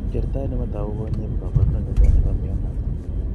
Kertaet nematatagu konye ko kabarunet netai nebo mionatan